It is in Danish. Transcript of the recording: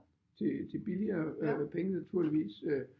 Til billigere penge naturligvis